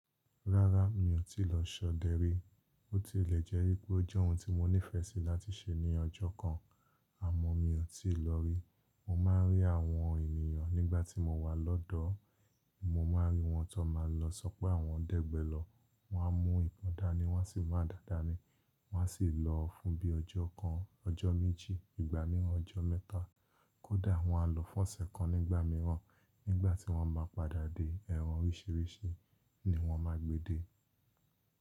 Rárá mi ò tí lọ ṣọdẹ rí, ó tilẹ̀ jẹ́ wípé ó jẹ́ ohun ti mo nífẹẹ sí láti ṣe ní ọjọ́ kan, àmọ́ mi ò tí ì lọ rí. Mo máa ń rí àwọn ènìyàn nígbà tí mo wà lọ́dọ̀, mo máa ń rí wọn tó máa ń lọ, sọ pé àwọn dẹ́gbẹlọ̀, wọ́n á mú ibòn dání, wọ́n sì mu adá dá ni, wọ́n á sì lọ fún bí i ọjọ́ kan, ọjọ́ méjì, ìgbà mìíràn ọjọ́ mẹ́ta, kódà wọ́n á lọ fún ọ̀sẹ̀ kan nígbà mìíràn, nígbà tí wọ́n bá padà dé, ẹran oríṣìíríṣìí ni wọ́n máa gbé dé.